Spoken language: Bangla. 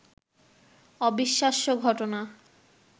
অবিশ্বাস্য ঘটনা